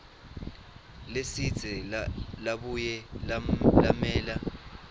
lesidze labuye lamela